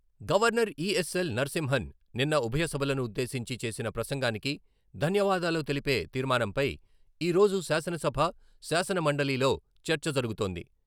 Governor ESL Narasimhan నిన్న ఉభయ సభలను ఉద్దేశించి చేసిన ప్రసంగానికి ధన్యవాదాలు తెలిపే తీర్మానంపై ఈ రోజు శాసనసభ, శాసన మండలిలో చర్చ జరుగుతోంది.